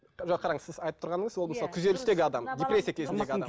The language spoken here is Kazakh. жоқ қараңыз сіз айтып тұрғаныңыз ол мысалы күйзелістегі адам депрессия кезіндегі адам